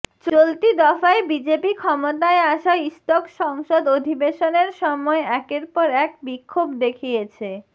চলতি দফায় বিজেপি ক্ষমতায় আসা ইস্তক সংসদ অধিবেশনের সময় একের পর এক বিক্ষোভ দেখিয়েছে